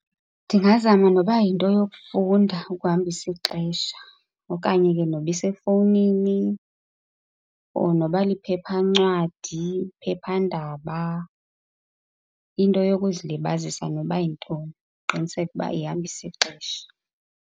Ndingazama noba yinto yokufunda ukuhambisa ixesha okanye ke noba isefowunini or noba liphephancwadi, phephandaba. Into yokuzilibazisa noba yintoni, ndiqiniseke ukuba ihambisa ixesha.